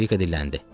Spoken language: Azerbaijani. Anjelika dilləndi.